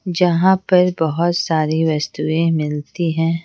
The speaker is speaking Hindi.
जहाँ पर बहुत सारी वस्तुएँ मिलती हैं।